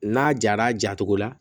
N'a jara a jatogo la